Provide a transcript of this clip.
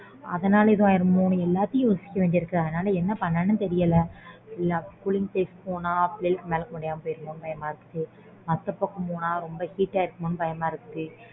அதனால் ஏதும் ஆயிடுமோன்னு எல்லாத்தையும் யோசிக்க வேண்டியதா இருக்கு அதனால என்ன பண்றது தெரியல பிள்ளைங்களுக்கு மேலுக்கு முடியாம போய்டுமோ பயமா இருக்கு அந்த பக்கம் போனா ரொம்ப heat ஆயிடுமோன்னு பயமா இருக்கு